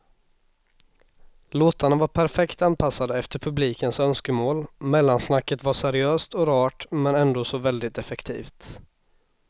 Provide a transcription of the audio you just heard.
Låtarna var perfekt anpassade efter publikens önskemål, mellansnacket var seriöst och rart och ändå så väldigt effektivt.